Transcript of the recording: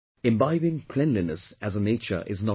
Imbibing cleanliness as a nature is not enough